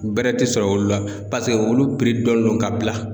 Bɛrɛ tɛ sɔrɔ olu la paseke olu dɔnnen don ka bila.